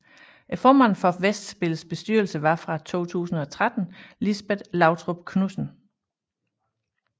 Formand for Festspillets bestyrelse var fra 2013 Lisbet Lautrup Knudsen